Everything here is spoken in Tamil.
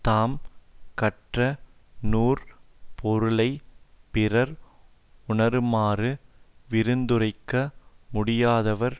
தாம் கற்ற நூற் பொருளை பிறர் உணருமாறு விரிந்துரைக்க முடியாதவர்